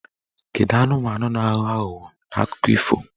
Kedụ anụmanụ na-aghọ aghụghọ n'akụkọ ifo?